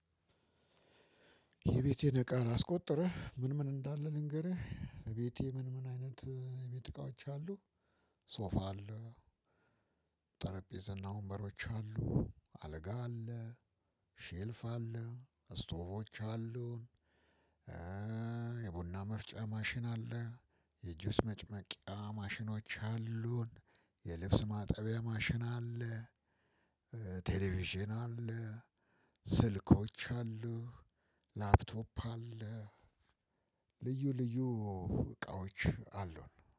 የቤቴን እቃ ላስቆጥርህ ምን ምን እንዳለ ልንገርህ። ቤቴ ምን ምን አይነት የቤት እቃዎች አሉ። ሶፋ አለ። ጠረጴዛ እና ወንበሮች አሉ አልጋ አለ። ሼልፍ አለ ስቶቮች አሉን። የቡና መፍጫ ማሽን አለ። የጅውስ መጭመቂያ ማሽኖች አሉን። የልብስ ማጠቢያ ማሽን አለ። ቴሌቪዥን አለ። ስልኮች አሉ። ላፕቶፕ አለ። ልዩ ልዩ እቃዎች አሉን